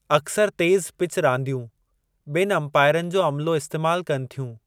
अक्सरि तेज़ पिच रांदियूं ॿिनि अमपाइरनि जो अमलो इस्तेमाल कनि थियूं।